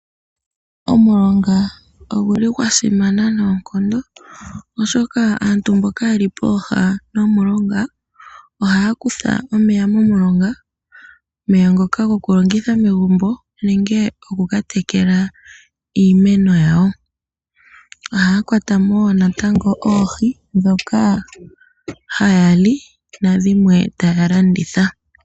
Omulonga oguli gwasimana noonkondo oshoka aantu mboka yeli popepi nomulonga ohaya kutha omeya momulonga omeya ngoka goku longitha megumbo nenge gokukatekela iimeno yawo ohaya kwata mo wo natango oohi dhoka haya li nadhimwe taya landitha.